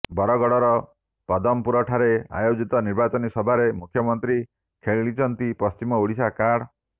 ବରଗଡ଼ର ପଦମପୁରଠାରେ ଆୟୋଜିତ ନିର୍ବାଚନୀ ସଭାରେ ମୁଖ୍ୟମନ୍ତ୍ରୀ ଖେଳିଛନ୍ତି ପଶ୍ଚିମ ଓଡ଼ିଶା କାର୍ଡ